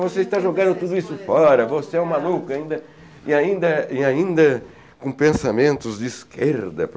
Você está jogando tudo isso fora, você é um maluco e ainda e ainda e ainda com pensamentos de esquerda.